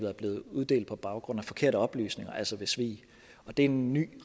er blevet uddelt på baggrund af forkerte oplysninger altså ved svig det er en ny